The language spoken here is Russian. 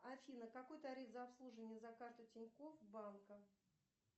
афина какой тариф за обслуживание за карту тинькофф банка